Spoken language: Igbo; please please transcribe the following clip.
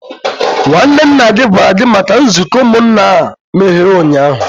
nwanne nna gi gwara gi maka nzuko umunna a mere unyahu?